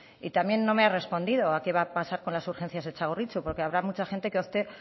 y también no me ha respondido a qué va a pasar con las urgencias de txagorritxu porque habrá mucha gente que opte